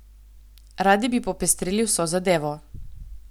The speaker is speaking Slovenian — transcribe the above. Radi bi popestrili vso zadevo.